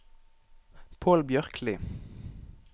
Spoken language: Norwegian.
Pål Bjørkli